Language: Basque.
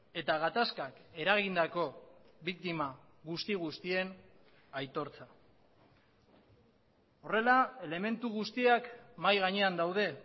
eta gatazkak eragindako biktima guzti guztien aitortza horrela elementu guztiak mahai gainean daude